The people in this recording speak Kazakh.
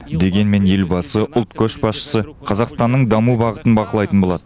дегенмен елбасы ұлт көшбасшысы қазақстанның даму бағытын бақылайтын болады